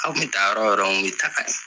Aw te taa yɔrɔ yɔrɔ anw be taka